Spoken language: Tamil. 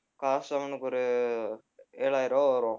காசு அவனுக்கு ஒரு ஏழாயிரம் ரூவா வரும்